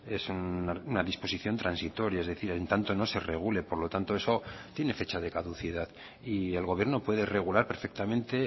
es una disposición transitoria es decir en tanto no se regule por lo tanto eso tiene fecha de caducidad y el gobierno puede regular perfectamente